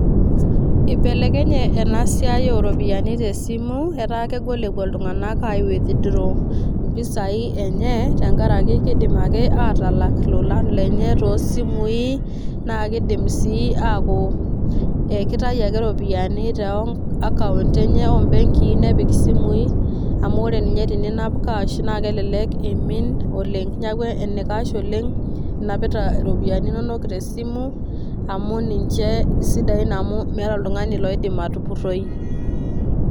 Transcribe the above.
Ibelekenye enasiai oropiyiani tesimu, etaa kegol epuo iltung'anak ai withdraw impisai enye, tenkaraki kidim ake atalak ilolan lenye tosimui, na kidim si aku kitayu ake ropiyaiani to akaunt enye obenkii nepik isimui, amu ore ninye teninap cash na kelelek eimin oleng'. Neeku enaikash oleng',inapita iropiyiani inonok tesimu, amu ninche isidain amu meeta oltung'ani loidim atupurroi.